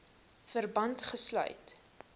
verband gesluit